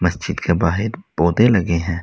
मस्जिद के बाहेब पौधे लगे हैं।